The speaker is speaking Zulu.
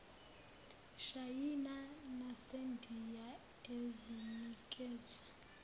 shayina nasendiya ezinikezwe